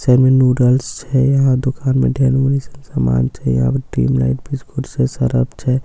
Side मे noodles छै यहां दुकान मे ढेर सब सामान छै यहां पर ड्रीम लाइट बिस्कुट छै सरफ छे।